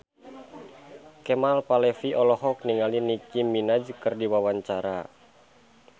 Kemal Palevi olohok ningali Nicky Minaj keur diwawancara